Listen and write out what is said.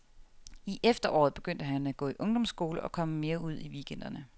I efteråret begyndte han at gå i ungdomsskole og komme mere ud i weekenderne.